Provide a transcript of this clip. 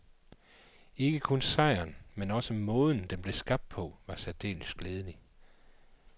Ikke kun sejren, men også måden, den blev skabt på, var særdeles glædelig.